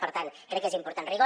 per tant crec que és important rigor